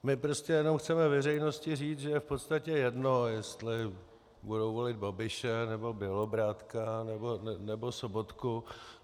My prostě jen chceme veřejnosti říct, že je v podstatě jedno, jestli budou volit Babiše, nebo Bělobrádka, nebo Sobotku.